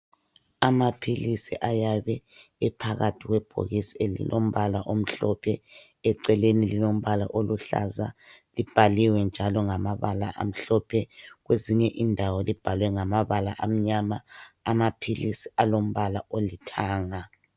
Amaphilisi ayabe ephakithi kwebhokisi elilombala omhlophe ,eceleni lilombala oluhlaza .Libhaliwe njalo ngamabala amhlophe ,kwezinye indawo libhalwe ngamabala amnyama .Amaphilisi alombala olithanga.